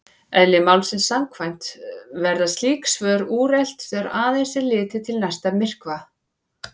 Eðli málsins samkvæmt verða slík svör úrelt þegar aðeins er litið til næsta myrkva.